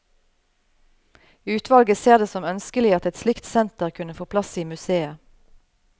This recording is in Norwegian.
Utvalget ser det som ønskelig at et slikt senter kunne få plass i museet.